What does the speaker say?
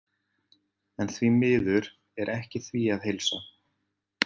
En því miður er ekki því að heilsa.